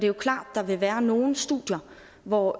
jo klart at der vil være nogle studier hvor